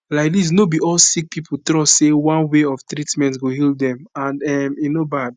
laidis no be all sick pipo trust say one way of treatment go heal dem and um e no bad